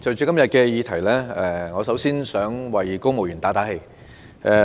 代理主席，就今天的議題，我想先為公務員打氣。